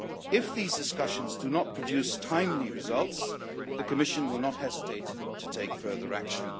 If these discussions do not produce timely results, the Commission will not hesitate to take further action.